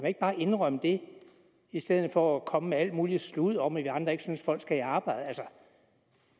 ikke bare indrømme det i stedet for at komme med alt muligt sludder om at vi andre ikke synes at folk skal i arbejde altså